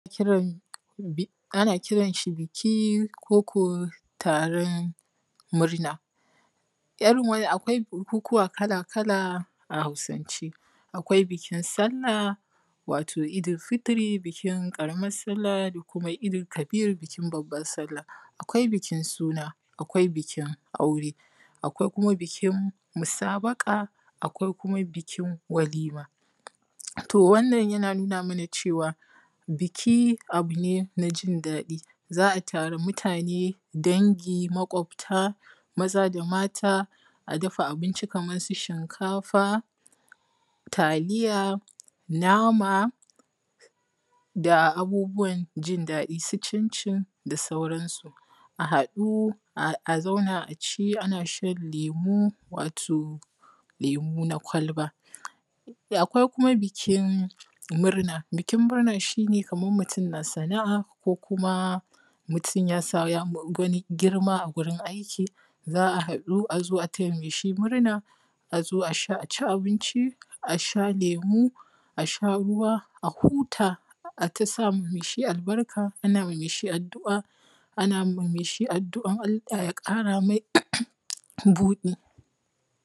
Ana kiran shi biki koko taron murna, irin wannan akwai taron bukukuwa kala-kala a Hausance, akwai bikin sallah wato idil-fitr ƙaramar sallah, da kuma babban sallah idil-kabir, akwaI bikin suna akwai bikin aure, akwai kuma bikin musabaƙa akwai bikin walima, to wannan yana nuna mana cewa biki abu ne na jin daɗi, za a tara mutane dangi maƙwabta maza da mata, a dafa abi nci kamar su shinkafa taliya nama, da abubuwan jin daɗi su cincin da sauransu, a haɗu a zauna a ci abinci ana shan lemu wato lemu na kwalba, da akwai kuma bikin murna, bikin murna shi ne kamar mutum yana sana’a,, ko idan mutum ya samu ƙarin girma a wurin aiki, za a haɗu a taya shi murna, a zo a ci a sha lemun kwalba a sha ruwa a huta, ana ta sa ma mai shi albarka, ana ma mai shi adu’ar Allah ya ƙara mai buɗi,